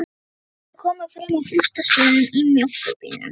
Þau komu fram að Frostastöðum í mjólkurbílnum.